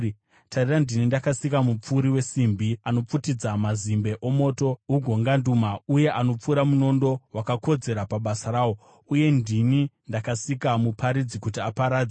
“Tarira, ndini ndakasika mupfuri wesimbi anopfutidza mazimbe moto ugonganduma, uye anopfura munondo wakakodzera pabasa rawo. Uye ndini ndakasika muparadzi kuti aparadze;